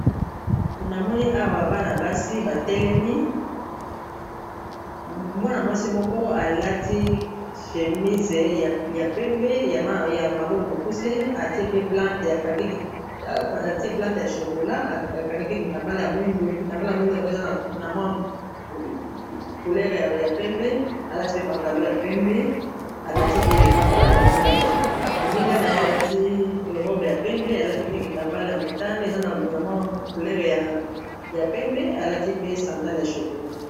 Na moni awa bana basi batelemi mwana mwasi moko alati chemise ya pembe ya maboko mokuse atie plante ya chokola akangi mpe kitambala ya mwindu kitambala ya mwindu yango eza couleur ya pembe alati pe pantalo ya pembe alati pe lipapa ya mwindu moninga na ye alati robe ya pembe alati mpe kitambala ya motane eza ana mwa culere ya pembe alati pe sandale ya chokola